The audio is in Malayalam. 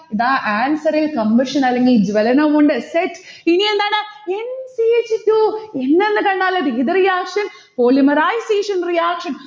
ദാ answer ൽ compression അല്ലെങ്കിൽ ജ്വലനവുമുണ്ട്. set? ഇനിയെന്താണ്? n c h two n എന്ന് കണ്ടാൽ അത് ഏത് reaction polymerization reaction